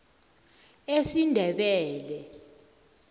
esindebele